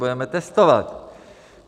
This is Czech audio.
Budeme testovat.